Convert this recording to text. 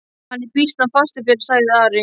Hann er býsna fastur fyrir, sagði Ari.